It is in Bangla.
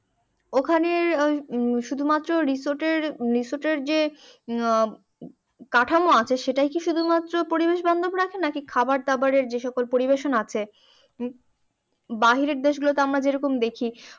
ওখানে শুধুমাত্র রিসোর্ট এর রিসোর্ট এর যে কাঠামো আছে সেটাই কি শুধুমাত্র পরিবেশ বান্ধব রাখে নাকি খাবার দাবার এর যে সব পরিবেশন আছে বাহিরের দেশগুলোতে আমরা যেরকম দেখি